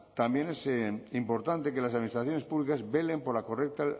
también es importante que las administraciones públicas velen por la correcta